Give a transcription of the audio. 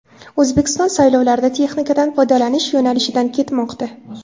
O‘zbekiston saylovlarda texnikadan foydalanish yo‘nalishidan ketmoqda.